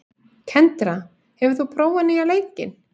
Kendra, hefur þú prófað nýja leikinn?